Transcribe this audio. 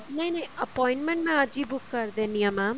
ਨਹੀਂ ਨਹੀਂ appointment ਮੈਂ ਅੱਜ ਹੀ ਬੁੱਕ ਕਰ ਦਿੰਨੀ ਹਾਂ mam